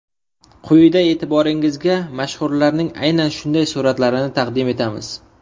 Quyida e’tiboringizga mashhurlarning aynan shunday suratlarini taqdim etamiz.